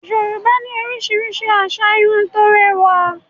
Yorùbá ní oríṣiríṣi asà Irun tó rẹwà